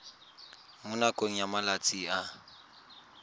mo nakong ya malatsi a